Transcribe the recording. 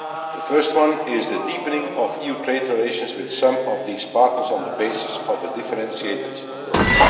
The first one is the deepening of EU trade relations with some of these partners on the basis of a differentiated approach.